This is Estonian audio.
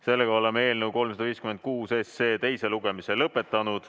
Sellega oleme eelnõu 356 teise lugemise lõpetanud.